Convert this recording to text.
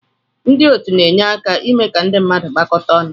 Ndị otu na-enye aka ime ka ndị mmadụ gbakọta ọnụ.